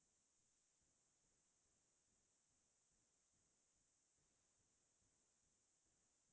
বহু দুৰলৈ কে ফুৰিবলৈ গৈছিলো আৰু ঘৰৰ লগত নহয় লগৰ লগৰীয়া বোৰৰ লগত গৈছিলো